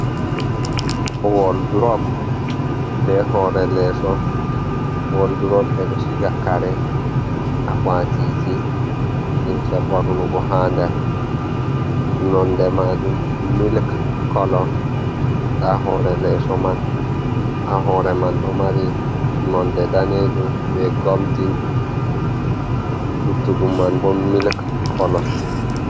Woldurop be hoore leeso, woldurop ɓe ɗo siga kare akwatiji limse ɓornugo ha nder, nonde maajum milik kolo nda hoore leeso man, ha hoore man ɗo mari nonde daneejum be goldin luttuɗum man bo miilk kolo.